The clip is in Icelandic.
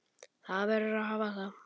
Það verður að hafa það.